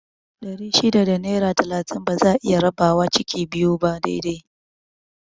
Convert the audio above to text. Ɗari shida da naira talatin ba za'a iya rabawa ciki biyu ba dai dai